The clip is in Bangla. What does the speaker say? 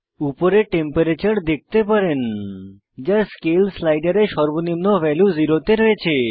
উপরে টেম্পারেচার তাপমাত্রা দেখতে পারেন যা স্কেল স্লাইডারে সর্বনিম্ন ভ্যালু 0 শূন্য তে রয়েছে